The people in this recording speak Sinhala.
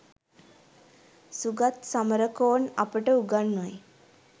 සුගත් සමරකෝන් අපට උගන්වයි